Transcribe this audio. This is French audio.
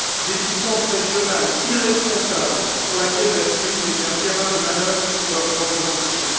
Des puissances régionales irresponsables pour lesquelles la Syrie n'est qu'un terrain de manœuvres pour leurs propres ambitions.